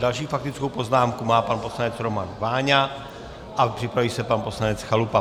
Další faktickou poznámku má pan poslanec Roman Váňa a připraví se pan poslanec Chalupa.